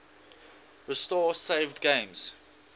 restore saved games